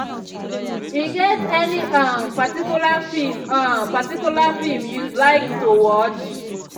i dey look um forward to the time the time um way i go um sidon rest after work work day.